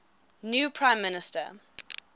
new prime minister